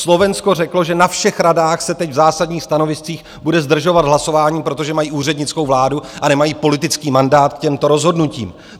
Slovensko řeklo, že na všech radách se teď v zásadních stanoviscích bude zdržovat hlasování, protože mají úřednickou vládu a nemají politický mandát k těmto rozhodnutím.